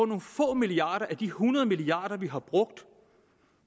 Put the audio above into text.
nogle få milliarder af de hundrede milliarder vi har brugt